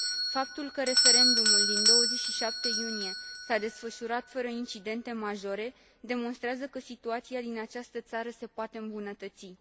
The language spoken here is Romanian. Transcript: Faptul că referendumul din 27 iunie s a desfășurat fără incidente majore demonstrează că situația din această țară se poate îmbunătăți.